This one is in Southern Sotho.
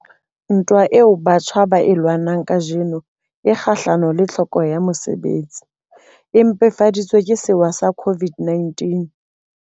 Ntwa eo batjha ba e lwanang kajeno e kgahlano le tlhokeho ya mosebetsi, e mpefadi tsweng ke sewa sa COVID-19.